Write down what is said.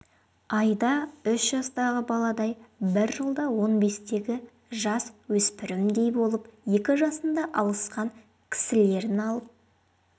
айда үш жастағы баладай бір жылда он бестегі жасөспірімдей болып екі жасында алысқан кісілерін алып